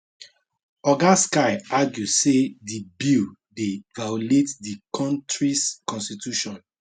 oga sky argue say di bill dey violate di kontris constitution